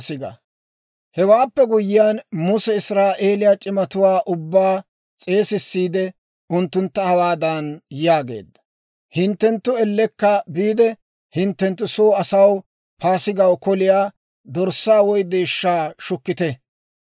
Hewaappe guyyiyaan Muse Israa'eeliyaa c'imatuwaa ubbaa s'eesissiide unttuntta hawaadan yaageedda; «Hinttenttu ellekka biide, hinttenttu soo asaw Paasigaw koliyaa, dorssaa woy deeshshaa shukkite.